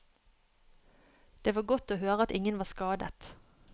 Det var godt å høre at ingen var skadet.